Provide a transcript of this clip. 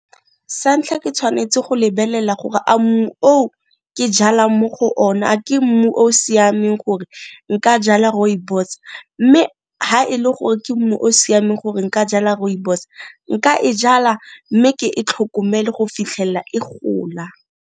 Sa ntlha ke tshwanetse go lebelela gore a mmu o o ke jalang mo go ona a ke mmu o siameng gore nka jala Rooibos, mme ga e le gore ke mmu o siameng gore nka jala Rooibos nka e jala mme ke e tlhokomele go fitlhella e gola.